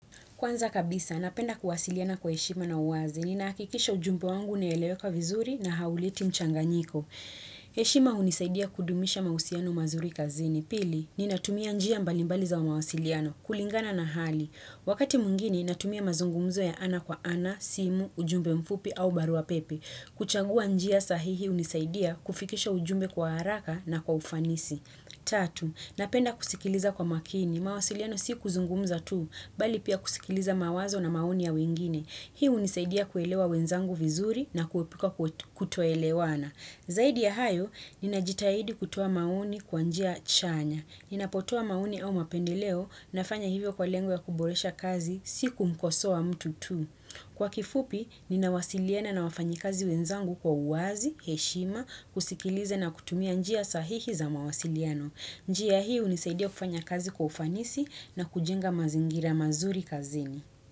Kwanza kabisa, napenda kuwasiliana kwa heshima na uwazi ni nakikisha ujumbe wangu neelewe kwa vizuri na hauliti mchanganyiko. Heshima hunisaidia kudumisha mausiano mazuri kazini. Pili, ni natumia njia mbalimbaliza wa mawasiliano, kulingana na hali. Wakati mwigine, natumia mazungumzo ya ana kwa ana, simu, ujumbe mfupi au barua pepe. Kuchagua njia sahihi hunisaidia kufikisha ujumbe kwa haraka na kwa ufanisi. Tatu Napenda kusikiliza kwa makini. Mawasiliano si kuzungumza tu, bali pia kusikiliza mawazo na maoni ya wengine. Hii hunisaidia kuelewa wenzangu vizuri na kuepuka kutoelewana. Zaidi ya hayo, ninajitahidi kutoa maoni kwa njia chanya. Ninapotoa maoni au mapendeleo na fanya hivyo kwa lengo kuboresha kazi siku mkosoa mtu tu. Kwa kifupi, ninawasiliana na wafanyi kazi wenzangu kwa uwazi, heshima, kusikiliza na kutumia njia sahihi za mawasiliano. Njia hii hunisaidia kufanya kazi kwa ufanisi na kujenga mazingira mazuri kazini.